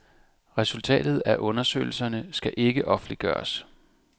Resultatet af undersøgelserne skal ikke offentliggøres.